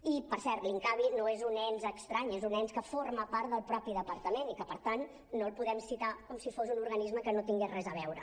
i per cert l’incavi no és un ens estrany és un ens que forma part del mateix departament i que per tant no el podem citar com si fos un organisme que no hi tingués res a veure